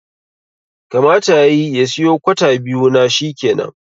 Kamata yayi ya siyo kwata biyu na shikenan